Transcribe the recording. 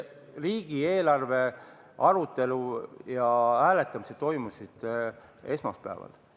Riigieelarve arutelu ja hääletamised toimusid esmaspäeval.